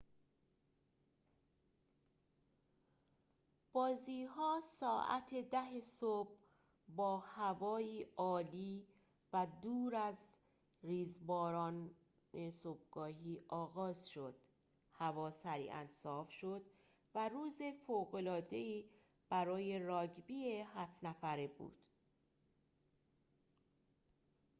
بازی‌ها ساعت ۱۰:۰۰ صبح با هوایی عالی و دور از ریزباران صبحگاهی آغاز شد هوا سریعاً صاف شد و روز فوق‌العاده‌ای برای راگبی ۷ نفره بود